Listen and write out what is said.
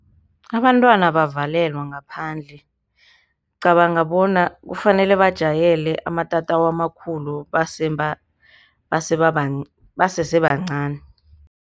Abantwana abavalelwa ngaphandle, ngicabanga bona kufanele bajwayele amatatawu amakhulu basese bancani.